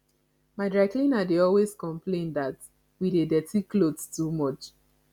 my dry cleaner dey always complain that we dey dirty clothes too much